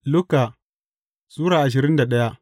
Luka Sura ashirin da daya